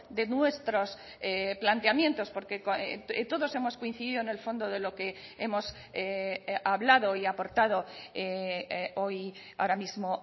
de nuestros planteamientos porque todos hemos coincidido en el fondo de lo que hemos hablado y aportado hoy ahora mismo